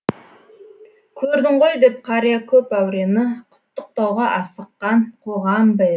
көрдің ғой деп қария көп әурені құттықтауға асыққан қоғам ба еді